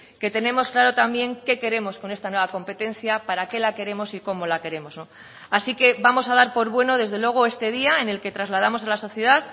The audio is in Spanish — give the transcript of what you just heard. que tenemos claro también qué queremos con esta nueva competencia para qué la queremos y cómo la queremos así que vamos a dar por bueno desde luego este día en el que trasladamos a la sociedad